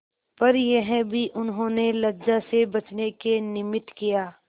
पर यह भी उन्होंने लज्जा से बचने के निमित्त किया